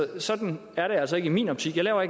det sådan er det altså ikke i min optik jeg laver